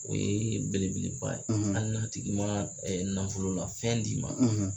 O ye belebeleba ye hali n'a tigi ma nafolola fɛn d'i ma